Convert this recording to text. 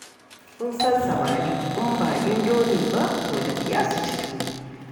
Kun san samari, in ba indomi ba to da wuya su ci tuwo.